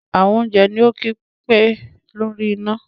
àwọn oúnjẹ ní o kí pé lórí iná